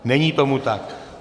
Není tomu tak.